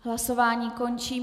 Hlasování končím.